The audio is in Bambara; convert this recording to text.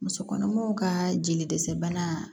Musokɔnɔmaw ka jeli dɛsɛ bana